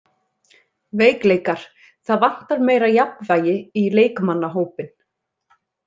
Veikleikar: Það vantar meira jafnvægi í leikmannahópinn.